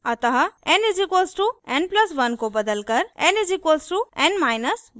अतः n = n + 1 को बदलकर n = n1 करें